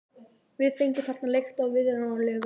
Við fengum þarna leigt á viðráðanlegu verði.